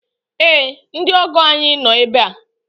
Ee! Ndị ọgọ ànyị no ebe a.